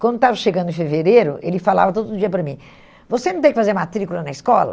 Quando estava chegando em fevereiro, ele falava todo dia para mim, você não tem que fazer matrícula na escola?